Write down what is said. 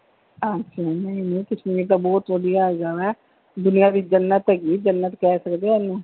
ਅੱਛਾ ਕਸ਼ਮੀਰ ਤਾਂ ਬਹੁਤ ਵਧੀਆ ਹੈਗਾ ਵਾ ਦੁਨੀਆ ਦੀ ਜੰਨਤ ਹੈਗੀ ਜੰਨਤ ਕਹਿ ਸਕਦੇ ਆ ਇਹਨੂੰ।